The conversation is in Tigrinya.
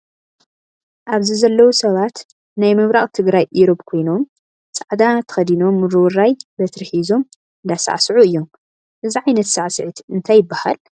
ኣብዚ ዘለው ሰባት ናይ ምብራቅ ትግራይ ኢሮብ ኮይኖም ፃዕዳ ተከዲኖም ውርውራይ በትሪ ሒዞም እንዳሳዕስዑ እዮም ? እዚ ዓይነት ስዕስዒት እንታይ ይበሃል ?